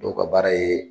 Dɔw ka baara ye